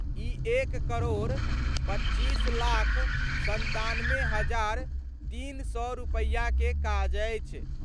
इ एक करोड़ 25 लाख 97 हजार 300 रुपया के काज अछि।